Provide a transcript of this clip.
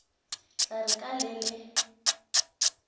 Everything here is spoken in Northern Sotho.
tla re ka le le